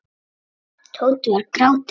Tóti var gráti nær.